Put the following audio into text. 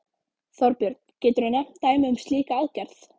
Þorbjörn: Geturðu nefnt dæmi um slíka aðgerð?